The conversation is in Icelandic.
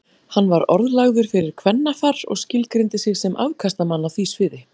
Hann var orðlagður fyrir kvennafar og skilgreindi sig sem afkastamann á því sviði.